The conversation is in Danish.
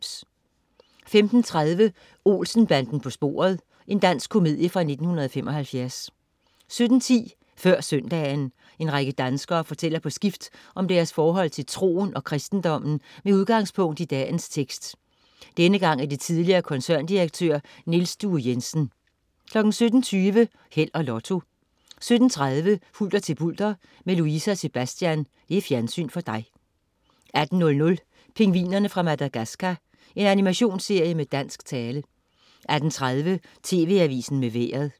15.30 Olsen-banden på sporet. Dansk komedie fra 1975 17.10 Før søndagen. En række danskere fortæller på skift om deres forhold til troen og kristendommen med udgangspunkt i dagens tekst. Denne gang er det tidligere koncerndirektør Niels Due Jensen 17.20 Held og Lotto 17.30 Hulter til bulter. Med Louise og Sebastian. Fjernsyn for dig 18.00 Pingvinerne fra Madagascar. Animationsserie med dansk tale 18.30 TV Avisen med Vejret